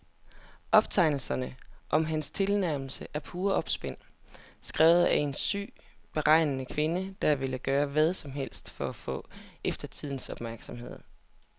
Optegnelserne om hans tilnærmelser er pure opspind, skrevet af en syg og beregnende kvinde, der ville gøre hvad som helst for at få eftertidens opmærksomhed.